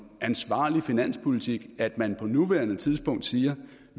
ansvarlig finanspolitik at man på nuværende tidspunkt siger